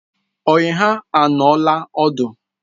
Ọyi ha anọọla ọdu